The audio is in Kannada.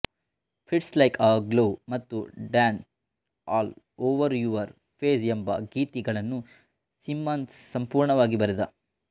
ಫಿಟ್ಸ್ ಲೈಕ್ ಎ ಗ್ಲೊವ್ ಮತ್ತು dance all over your face ಎಂಬ ಗೀತೆಗಳನ್ನು ಸಿಮ್ಮನ್ಸ್ ಸಂಪೂರ್ಣವಾಗಿ ಬರೆದ